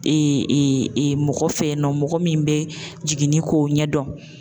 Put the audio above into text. mɔgɔ fɛ yen nɔ, mɔgɔ min bɛ jiginni k'o ɲɛdɔn.